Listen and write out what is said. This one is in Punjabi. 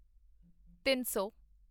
ਤਿੱਨ ਸੌ